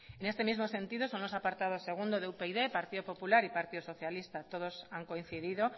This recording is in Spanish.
en este mismo sentido son los apartados segundo de upyd partido popular y partido socialista todos han coincidido